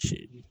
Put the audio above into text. Seegin